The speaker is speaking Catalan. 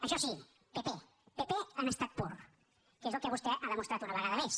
això sí pp pp en estat pur que és el que vostè ha demostrat una vegada més